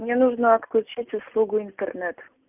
мне нужно отключить услугу интернет